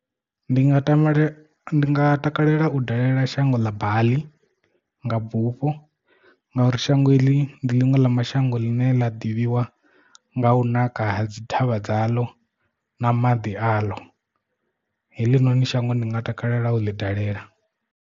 Ndi nga tamba ndi nga takalela u dalela shango ḽa Baḽi nga bufho ngauri shango iḽi ndi ḽiṅwe ḽa mashango ḽine ḽa ḓivhiwa nga u naka ha dzi thavha dzaḽo na maḓi a ḽo heḽinoni shango ndi nga takalela u ḽi dalela.